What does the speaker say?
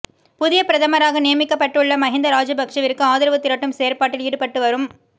புதிய பிரதமராக நியமிக்கப்பட்டுள்ள மஹிந்த ராஜபக்ஷவிற்கு ஆதரவு திரட்டும் செயற்பாட்டில் ஈடுபட்டுவரும் ம